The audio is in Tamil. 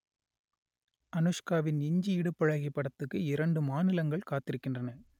அனுஷ்காவின் இஞ்சி இடுப்பழகி படத்துக்கு இரண்டு மாநிலங்கள் காத்திருக்கின்றன